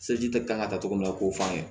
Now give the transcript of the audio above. kan ka togo min na k'o f'an ye